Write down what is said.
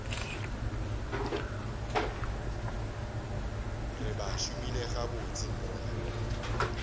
re ba šomile gabotse mola